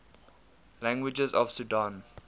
languages of sudan